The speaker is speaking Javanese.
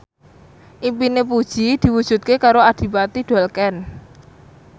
impine Puji diwujudke karo Adipati Dolken